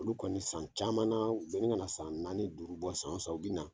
Olu kɔni san caman na u be ɲini kana san naani duuru bɔ san o san u bɛna